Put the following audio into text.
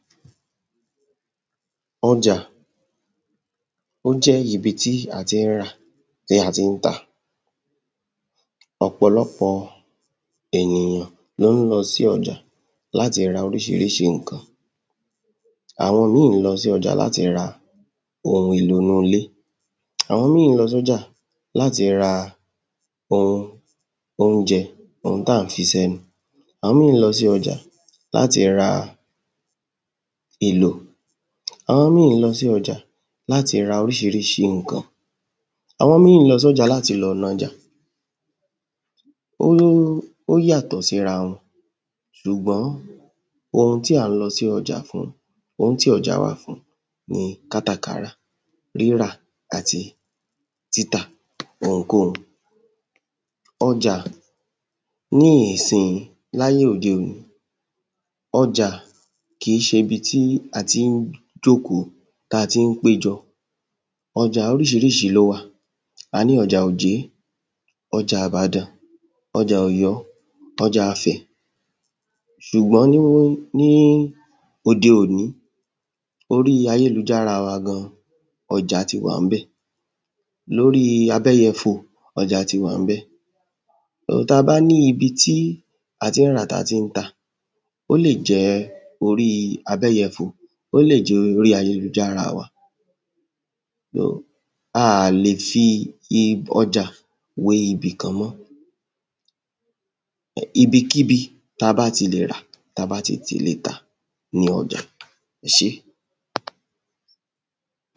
ọjà ó jẹ́ ibi tí a ti ń rà tí a ti ń tà ọ̀pọ̀lọpọ̀ ènìyàn lo ń lọ sí ọjà láti ra oríṣiríṣi ǹkan àwọn ìmíì lọ sí ọjà láti ra ohun èlò inú ilé àwọn ìmíì lọ sọ́jà láti ra ohun oúnjẹ ohun tá ń fi sẹ́nu ẹlòmíì lọ sí ọjà láti ra èlò àwọn míì lọ sí ọjà láti ra oríṣiríṣi ǹkan àwọn ìmíì lọ sí ọjà láti lọ nájà ó ó yàtọ̀ sí ra wọn ṣùgbọ́n ohun tí a ń lọ sí ọjà fún ohun tí ọjà wà fún ni kátàkárà rírà àti títà ohunkóhun ọjà ní ìsìnyí láyé òde òní ọjà kìí ṣe ibi tí a ti ń jókòó tí a ti ń péjọ ọjà oríṣiríṣi ló wà, a ní ọjà òjé, ọjà ìbàdàn ọjà ọ̀yọ́ ọjàafẹ̀ sùgbọ́n ní òde òní orí ayé lujára wa gan ọjà ti wà níbẹ̀, lórí abẹ́yẹfò, ọjà ti wà ńbẹ̀ tabá ní ibi tí a ti ń rà tí a ti ń tà ó lè jẹ́ orí abẹ́yẹfò ó lè jẹ́ orí ayé lujára wa aà lè fi ọjà wé ibì kan mọ́ ibi kíbi ta bá ti lè rà tabá ti lè tà ni ọjà. ẹ ṣé